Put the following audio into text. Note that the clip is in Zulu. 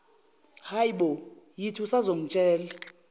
bo yithi usazongitshela